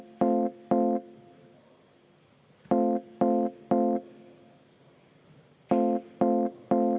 Aitäh!